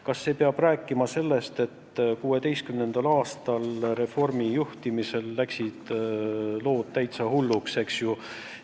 Kas see räägib sellest, et 2016. aastal läksid lood Reformierakonna juhtimisel täitsa hulluks?